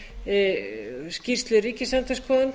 undirplagg skýrslu ríkisendurskoðunar